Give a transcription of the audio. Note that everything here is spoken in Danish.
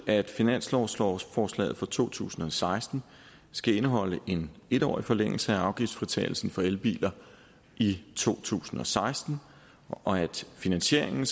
at finanslovsforslaget for to tusind og seksten skal indeholde en en årig forlængelse af afgiftsfritagelsen for elbiler i to tusind og seksten og at finansieringen